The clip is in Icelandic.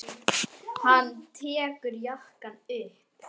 Hann tekur jakkann upp.